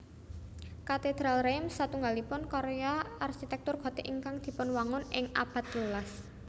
Katedral Reims satunggalipun karya arsitéktur Gothic ingkang dipunwangun ing abad telulas